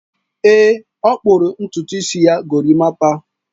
Ee, ọ kpụrụ ntutu isi ya gorimapa.